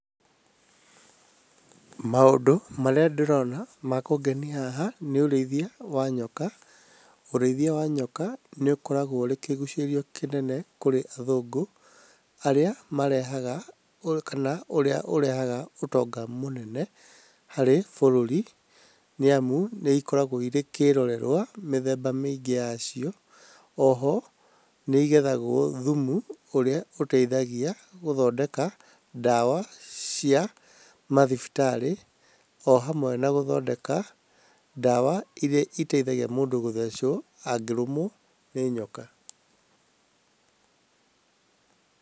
Maũndũ marĩa ndĩrona makũngenia haha nĩ ma ũrĩithia wa nyoka. Urĩithia wa nyoka nĩũkoragwo ũrĩ kĩgucĩrĩrio kĩnene kũrĩ athũngũ arĩa marehaga kana ũrĩa ũrehaga ũtonga mũnene harĩ bũrũri, nĩamu nĩikoragwo ĩri kĩrorerwa mĩthemba mĩingĩ yacio. Oho nĩigethagwo thumu ũrĩa ũteithagia gũthondeka ndawa cia mathibitarĩ, ohamwe na gũthondeka ndawa iria iteithagia mũndũ gũthecwo angĩrũmwo nĩ nyoka.